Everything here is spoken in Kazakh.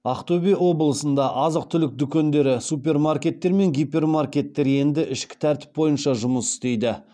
ақтөбе облысында азық түлік дүкендері супермаркеттер мен гипермаркеттер енді ішкі тәртіп бойынша жұмыс істейді